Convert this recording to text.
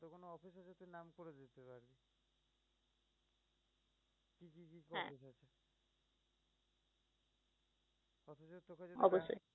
অবশ্যই